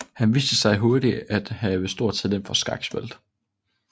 Han viste sig hurtigt at have stort talent for skakspillet